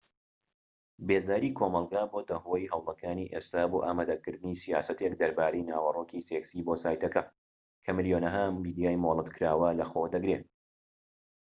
بێزاری کۆمەڵگە بۆتە هۆی هەوڵەکانی ئێستا بۆ ئامادەکردنی سیاسەتێک دەربارەی ناوەرۆکی سێكسی بۆ سایتەکە کە ملیۆنەها میدیای مۆڵەت کراوە لە خۆ دەگرێت